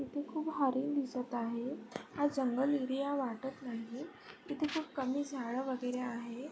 इथे खूप हरिण दिसत आहे हा जंगल एरिया वाटत नाहीये तिथे खूप कमी झाड वगैरे आहेत.